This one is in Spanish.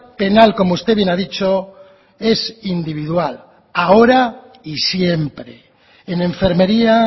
penal como usted bien ha dicho es individual ahora y siempre en enfermería